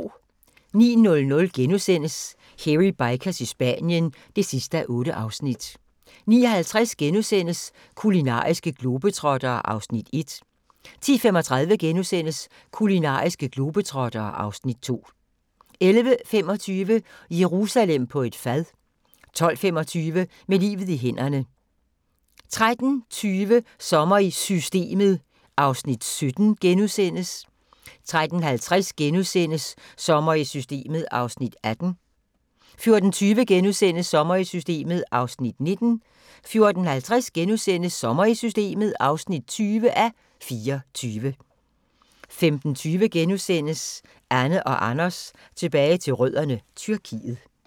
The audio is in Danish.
09:00: Hairy Bikers i Spanien (8:8)* 09:50: Kulinariske globetrottere (Afs. 1)* 10:35: Kulinariske globetrottere (Afs. 2)* 11:25: Jerusalem på et fad 12:25: Med livet i hænderne 13:20: Sommer i Systemet (17:24)* 13:50: Sommer i Systemet (18:24)* 14:20: Sommer i Systemet (19:24)* 14:50: Sommer i Systemet (20:24)* 15:20: Anne & Anders tilbage til rødderne: Tyrkiet *